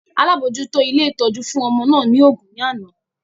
Alamojuto ilé ìtọ́jú fún ọmọ náà ni ògún ní àná